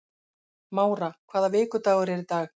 Mára, hvaða vikudagur er í dag?